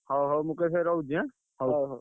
ହଉ ହଉ ମୁକେଶ ଭାଇ ରହୁଛି ଏଁ ।